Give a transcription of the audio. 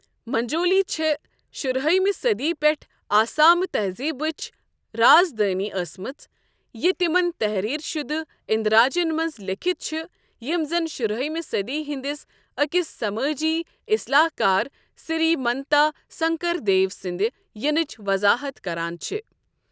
مجوٗلی چھے٘ شُرہأمہِ صدی پٮ۪ٹھٕ آسٲمۍ تہزیبٕچ رازدٲنہِ ٲسمٕژ ، یہِ تِمن تحریر شُدٕ اندراجن منز لیكھِتھ چھٖ یِم زن شُرہِأمہِ صدی ہندِس اكِس سمٲجی اِصلاحكار سری منتا سنكر دیو سٕندِ ینٕچ وضاحت كران چھ۔